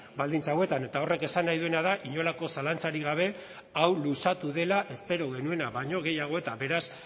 baldintza hauetan eta horrek esan nahi duena da inolako zalantzarik gabe hau luzatu dela espero genuena baino gehiago eta beraz